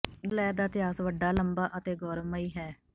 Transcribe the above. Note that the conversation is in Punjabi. ਗ਼ਦਰ ਲਹਿਰ ਦਾ ਇਤਿਹਾਸ ਵੱਡਾ ਲੰਬਾ ਅਤੇ ਗੌਰਵਮਈ ਹੈ